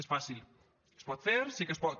és fàcil es pot fer sí que es pot